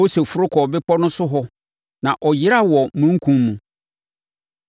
Mose foro kɔɔ bepɔ no so hɔ na ɔyeraa wɔ omununkum mu.